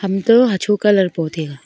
hantoh hocho colour po taiga.